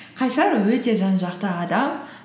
қайсар өте жан жақты адам